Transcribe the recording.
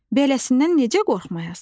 Beləsinə necə qorxmayasan?